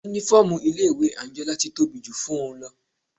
Uniform ilé ìwé Anjola ti tóbi jù fún-un lọ.